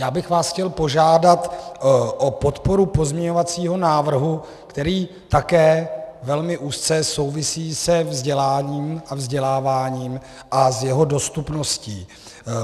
Já bych vás chtěl požádat o podporu pozměňovacího návrhu, který také velmi úzce souvisí se vzděláním a vzděláváním a s jeho dostupností.